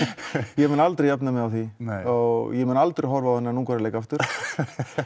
ég mun aldrei jafna mig á því og ég mun aldrei horfa á þennan Ungverjaleik aftur